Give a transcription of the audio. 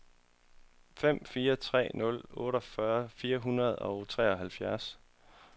fem fire tre nul otteogfyrre fire hundrede og treoghalvfjerds